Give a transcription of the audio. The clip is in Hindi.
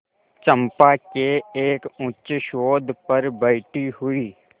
चंपा के एक उच्चसौध पर बैठी हुई